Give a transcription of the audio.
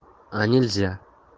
а нельзя